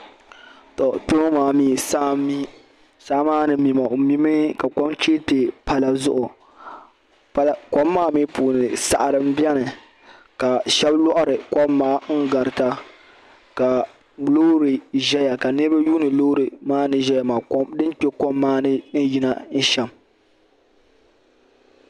To kpeŋɔ maa mi saa n mi, saa maa ni mi maa ɔ mi mi ka kom chee kpe pala zuɣu kom maa mi puuni saɣiri n beni ka shabi lɔɣiri kom maa n garita. ka lɔɔri ʒaya ka niribi yuuni lɔɔri maa ni ʒaya maa din kpe kom maani n yina sham.